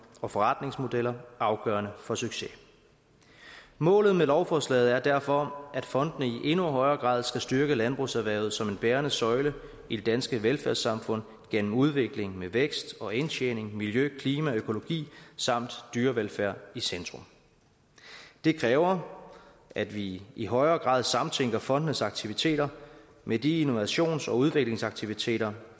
og forretningsmodeller afgørende for succes målet med lovforslaget er derfor at fondene i endnu højere grad skal styrke landbrugserhvervet som en bærende søjle i det danske velfærdssamfund gennem udvikling med vækst og indtjening miljø klima økologi samt dyrevelfærd i centrum det kræver at vi i højere grad samtænker fondenes aktiviteter med de innovations og udviklingsaktiviteter